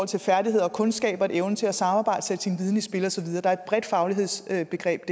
til færdigheder og kundskaber evnen til at samarbejde sætte sin viden i spil og så videre der er et bredt faglighedsbegreb